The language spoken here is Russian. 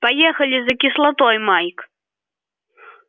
поехали за кислотой майк